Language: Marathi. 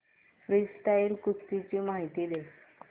फ्रीस्टाईल कुस्ती ची माहिती दे